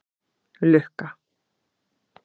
Lukka